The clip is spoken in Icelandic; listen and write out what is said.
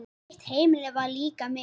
Þitt heimili var líka mitt.